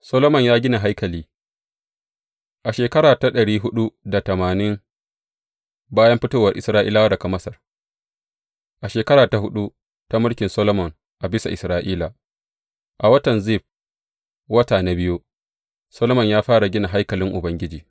Solomon ya gina haikali A shekara ta ɗari huɗu da tamani bayan fitowar Isra’ilawa daga Masar, a shekara ta huɗu ta mulkin Solomon a bisa Isra’ila, a watan Zif, wata na biyu, Solomon ya fara gina haikalin Ubangiji.